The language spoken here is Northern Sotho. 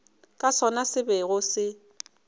ke sona se bego se